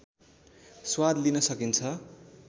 स्वाद लिन सकिन्छ